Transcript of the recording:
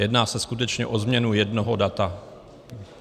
Jedná se skutečně o změnu jednoho data.